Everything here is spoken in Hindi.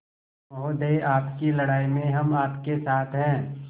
महोदय आपकी लड़ाई में हम आपके साथ हैं